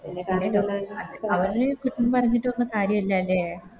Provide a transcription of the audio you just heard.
അവരെ കുറ്റം പറഞ്ഞിറ്റൊന്നും കാര്യല്ല ലെ